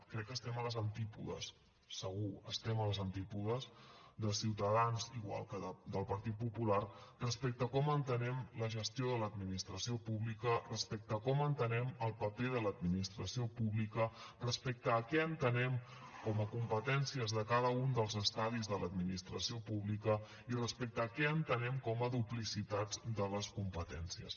crec que estem a les antípodes segur estem a les antípodes de ciutadans igual que del partit popular respecte com entenem la gestió de l’administració pública respecte com entenem el paper de l’administració pública respecte a què entenem com a competències de cada un dels estadis de l’administració pública i respecte a què entenem com a duplicitats de les competències